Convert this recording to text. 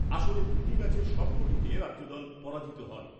আসরে দুটি ম্যাচের সবকটিতে রাজ্যদল পরাজিত হয় ।